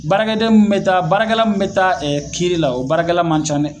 Baarakɛden mun be taa baarakɛla mun be taa ɛ kiiri la o baarakɛla man ca nɛ